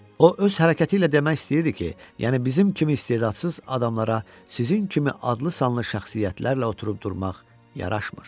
O öz hərəkəti ilə demək istəyirdi ki, yəni bizim kimi istedadsız adamlara sizin kimi adlı-sanlı şəxsiyyətlərlə oturub-durmaq yaraşmır.